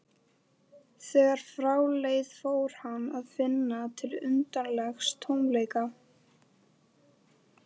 Þegar frá leið fór hann að finna til undarlegs tómleika.